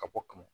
Ka bɔ ka mɔ